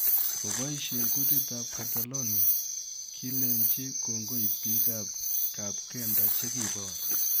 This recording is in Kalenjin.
Kopaishee kutit ap Catelonia, kileenji kongoi piik ap Kapkenda che kiiboor